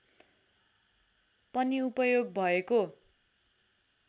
पनि उपयोग भएको